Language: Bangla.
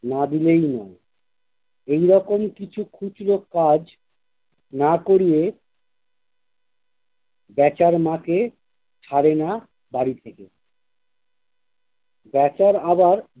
না দিলেই নয়। এরকম কিছু খুচরো কাজ না করলে বেচার মাকে ছাড়ে না বাড়ি থেকে বেচার আবার